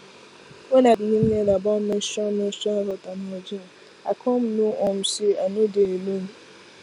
when i begin learn about menstrual menstrual health and hygiene i come know um say i no dey alone